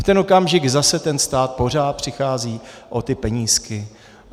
V ten okamžik zase ten stát pořád přichází o ty penízky.